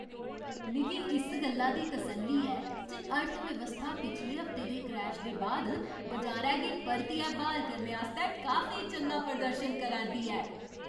मिगी इस गल्ला दी तसल्ली ऐ जे अर्थव्यवस्था पिछले हफ्ते दे क्रैश दे बाद बजारै गी परतियै ब्हाल करने आस्तै काफी चंगा प्रदर्शन करा 'रदी ऐ।